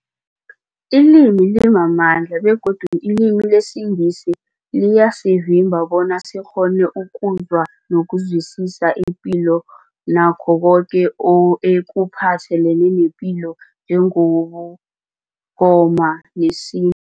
Ilimi limamandla begodu ilimi lesiNgisi liyasivimba bona sikghone ukuzwa nokuzwisisa ipilo nakho koke ekuphathelene nepilo njengobuNgoma nesintu.